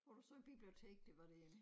Og du sagde biblioteket det var derinde